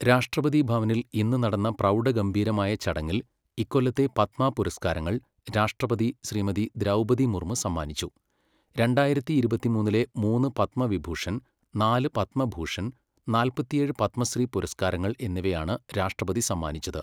രാഷ്ട്രപതി ഭവനിൽ ഇന്ന് നടന്ന പ്രൗഢ ഗംഭീരമായ ചടങ്ങിൽ ഇക്കൊല്ലത്തെ പദ്മ പുരസ്കാരങ്ങൾ രാഷ്ടപതി ശ്രീമതി ദ്രൗപദി മുർമു സമ്മാനിച്ചു. രണ്ടായിരത്തി ഇരുപത്തിമൂന്നിലെ മൂന്ന് പത്മവിഭൂഷൺ, നാല് പത്മഭൂഷൺ, നാല്പത്തിയേഴ് പത്മശ്രീ പുരസ്കാരങ്ങൾ എന്നിയവയാണ് രാഷ്ട്രപതി സമ്മാനിച്ചത്.